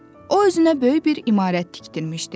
O özünə böyük bir imarət tikdirmişdi.